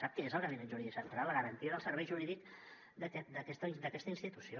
sap què és el gabinet jurídic central la garantia del servei jurídic d’aquesta institució